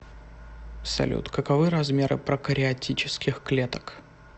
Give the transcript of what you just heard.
салют каковы размеры прокариотических клеток